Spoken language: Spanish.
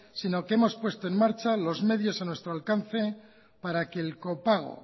sino que hemos puesto en marcha los medios a nuestro alcance para que el copago